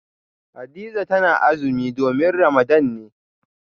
Hadiza tana azumi domin Ramadan ne